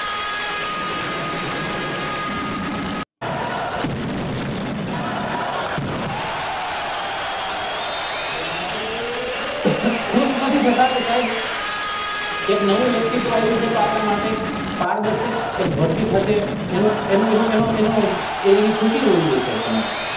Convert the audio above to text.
ખુશ નથી થતા કે સાહેબ એક નવું વ્યક્તિત્વ આવ્યું છે તો આપણા માટે એક ભરતી થશે એની ખુશી હોવી જોયીયે તમારે